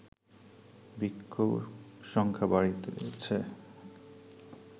ভিক্ষুসংখ্যা বাড়িতেছে